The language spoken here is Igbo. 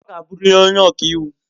Ọ ga-abụrịrị onye ọka iwu!